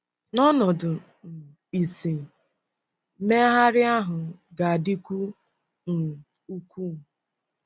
N’ọnọdụ um ìsì, mmegharị ahụ ga-adịkwu um ukwuu.